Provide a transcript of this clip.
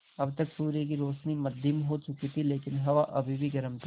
अब तक सूर्य की रोशनी मद्धिम हो चुकी थी लेकिन हवा अभी भी गर्म थी